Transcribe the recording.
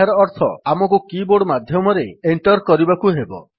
ଏହାର ଅର୍ଥ ଆମକୁ କିବୋର୍ଡ ମାଧ୍ୟମରେ ଏଣ୍ଟର୍ କରିବାକୁ ହେବ